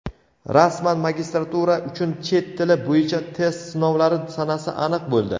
Rasman magistratura uchun chet tili bo‘yicha test sinovlari sanasi aniq bo‘ldi.